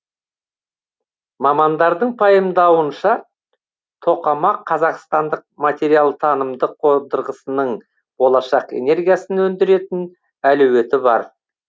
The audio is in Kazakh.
мамандардың пайымдауынша тоқамақ қазақстандық материалтанымдық қондырғысының болашақ энергиясын өндіретін әлеуеті бар